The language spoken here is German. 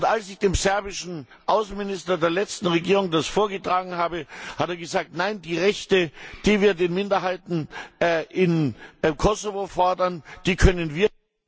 Als ich dem serbischen Außenminister der letzten Regierung das vorgetragen habe, hat er gesagt Nein, die Rechte, die wir für die Minderheiten in Kosovo fordern, die können wir